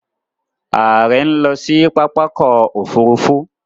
Ààrẹ ń lọ sí pápákọ̀ òfurufú